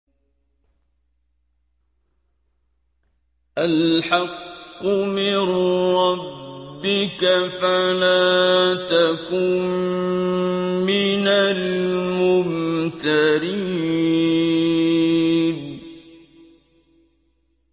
الْحَقُّ مِن رَّبِّكَ فَلَا تَكُن مِّنَ الْمُمْتَرِينَ